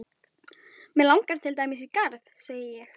Mig langar til dæmis í garð, segi ég.